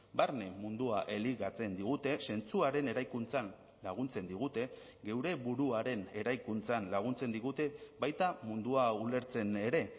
barne mundua elikatzen digute zentzuaren eraikuntzan laguntzen digute geure buruaren eraikuntzan laguntzen digute baita mundua ulertzen ere